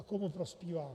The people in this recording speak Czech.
A komu prospívá.